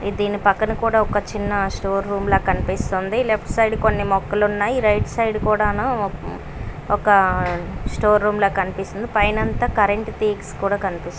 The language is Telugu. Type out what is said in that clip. దీని పక్కన కూడా ఒక చిన్న షో రూమ్ ల కనిపిస్తుందిలెఫ్ట్ సైడ్ కొన్ని మొక్కలు ఉన్నాయి రైట్ సైడ్ కూడాను ఉ ఒక స్టోర్ రూమ్ ల కనిపిస్తుందిపైన అంతా కూడా కరెంట్ తీగ్స్ కూడా కనిపిస్తు--